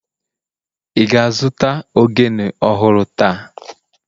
Ị ga-azụta ogene ọhụrụ taa?